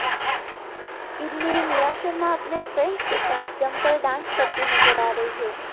इनमें निया शर्मा अपने फ्रेंड्स के साथ जमकर डांस करती नजर आ रही हैं